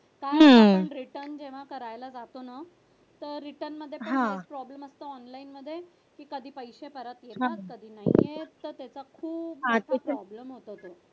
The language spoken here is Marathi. आपण return जेव्हा करायला जातो ना तेव्हा return मध्ये काही problem असतो online मध्ये तर कधी पैसे परत येतात तर कधी नाही येत तर त्याचा खूप मोठा problem होतो.